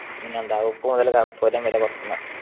പിന്നെന്താ ഉപ്പ് മുതൽ കർപ്പൂരം വരെ പൊറത്തുന്ന